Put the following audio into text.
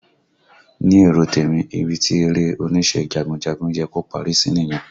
Ní èrò tèmi, ibi tí eré onísẹ́ jagunjagun yẹ kó parí sí nìyẹn